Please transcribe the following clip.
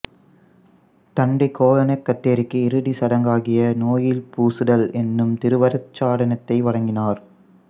தந்தை கோலனெக் கத்தேரிக்கு இறுதிச் சடங்காகிய நோயில் பூசுதல் என்னும் திருவருட்சாதனத்தை வழங்கினார்